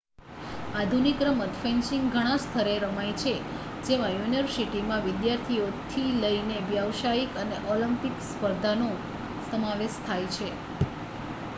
આધુનિક રમત ફેન્સિંગ ઘણાં સ્તરે રમાય છે જેમાં યુનિવર્સિટીમાં વિદ્યાર્થીઓથી લઈને વ્યાવસાયિક અને ઑલિમ્પિક સ્પર્ધાનો સમાવેશ થાય છે